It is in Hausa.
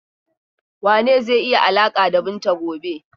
Wane ne zai yi alaƙa da Binta gobe?